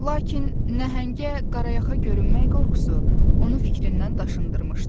Lakin nəhəngə qarayaxa görünmək qorxusu onu fikrindən daşındırmışdı.